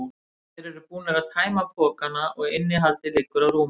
Þeir eru búnir að tæma pokana og innihaldið liggur á rúminu.